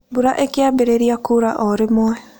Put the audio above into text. Mbura ĩkĩambĩrĩria kuura o rĩmwe.